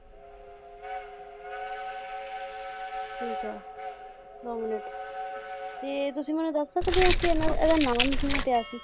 ਠੀਕ ਏ ਦੋ ਮਿਨਟ ਤੇ ਤੁਸੀ ਮੈਨੂੰ ਦੱਸ ਸਕਦੇ ਓ ਕਿ ਇਹਨਾ~ ਇਹਦਾ ਨਾਮ ਕਿਵੇਂ ਪਿਆ ਸੀ?